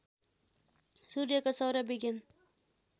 सूर्यको सौर्य विज्ञान